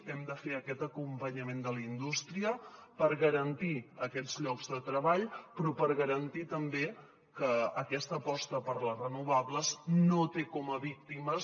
hem de fer aquest acompanyament de la indústria per garantir aquests llocs de treball però per garantir també que aquesta aposta per les renovables no té com a víctimes